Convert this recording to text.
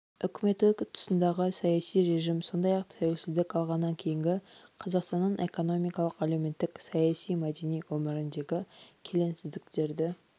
үкіметі тұсындағы саяси режим сондай-ақ тәуелсіздік алғаннан кейінгі қазақстанның экономикалық әлеуметтік саяси мәдени өміріндегі келеңсіздіктерді